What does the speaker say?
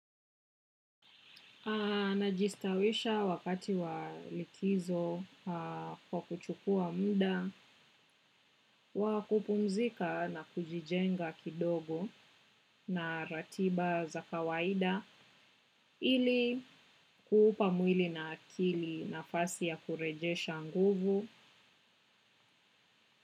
Najistawisha wakati wa likizo kwa kuchukua muda, wa kupumzika na kujijenga kidogo na ratiba za kawaida ili kuupa mwili na akili nafasi ya kurejesha nguvu.